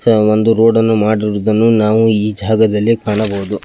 ಒಂದು ರೋಡ್ ಅನ್ನು ಮಾಡಿರುವುದನ್ನು ನಾವು ಈ ಜಾಗದಲ್ಲಿ ಕಾಣಬಹುದು.